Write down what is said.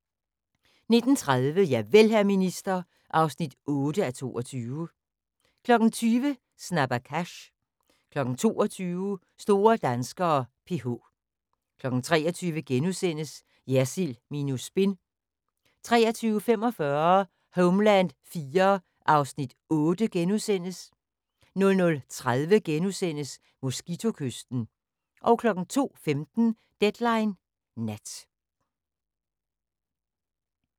19:30: Javel, hr. minister (8:22) 20:00: Snabba Cash 22:00: Store danskere: PH 23:00: Jersild minus spin * 23:45: Homeland IV (Afs. 8)* 00:30: Mosquito-kysten * 02:15: Deadline Nat